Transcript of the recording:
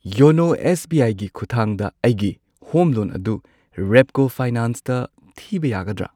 YONO S B ꯑꯥꯏꯒꯤ ꯈꯨꯊꯥꯡꯗ ꯑꯩꯒꯤꯍꯣꯝ ꯂꯣꯟ ꯑꯗꯨ ꯔꯦꯞꯀꯣ ꯐꯥꯏꯅꯥꯟꯁꯇ ꯊꯤꯕ ꯌꯥꯒꯗ꯭ꯔꯥ?